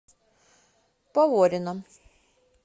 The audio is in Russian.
поворино